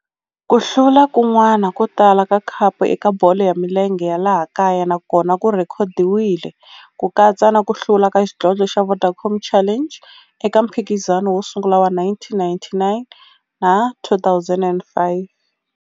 Ku hlula kun'wana ko tala ka khapu eka bolo ya milenge ya laha kaya na kona ku rhekhodiwile, ku katsa na ku hlula ka xidlodlo xa Vodacom Challenge eka mphikizano wo sungula wa 1999 na 2005.